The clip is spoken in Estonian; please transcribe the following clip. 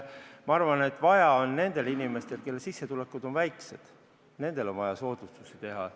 Ma arvan, et nendele inimestele, kelle sissetulekud on väikesed, on vaja soodustusi teha.